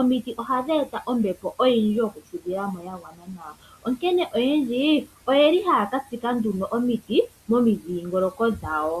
omiti ohadhi eta ombepo oyindji Yoku fudhilamo yagwana nawa onkene oyendji oyeli haya ka tsika nduno omiti momidhingoloko dhawo.